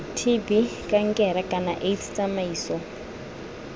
tb kankere kana aids tsamaiso